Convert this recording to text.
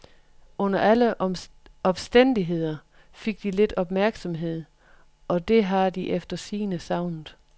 Under alle opstændigheder fik de lidt opmærksomhed, og det har de efter sigende savnet.